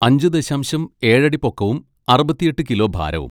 അഞ്ച് ദശാംശം ഏഴ് അടി പൊക്കവും അറുപത്തിയെട്ട് കിലോ ഭാരവും.